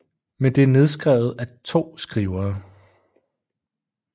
Men det er nedskrevet af to skrivere